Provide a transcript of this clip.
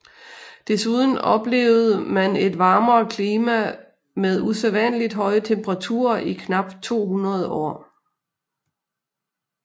Desuden oplevede man et varmere klima med usædvanligt høje temperaturer i knap 200 år